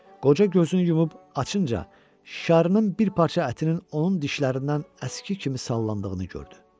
Qoca gözünü yumub açınca şarkanın bir parça ətinin onun dişlərindən əski kimi sallandığını gördü.